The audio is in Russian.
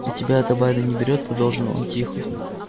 а тебя эта байда не берет продолжил он тихо